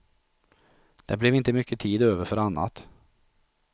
Det blev inte mycket tid över för annat.